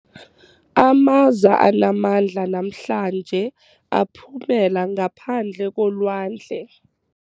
Amaza anamandla namhlanje aphumela ngaphandle kolwandle.